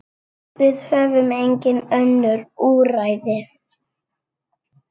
Við höfum engin önnur úrræði.